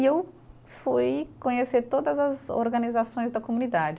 E eu fui conhecer todas as organizações da comunidade.